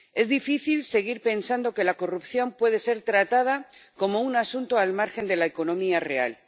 Es difícil seguir pensando que la corrupción puede ser tratada como un asunto al margen de la economía real.